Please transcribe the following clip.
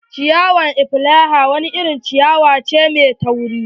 Ciyawar elephant wani irin ciyawa mai tauri ne.